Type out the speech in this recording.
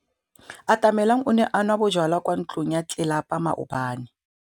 Atamelang o ne a nwa bojwala kwa ntlong ya tlelapa maobane.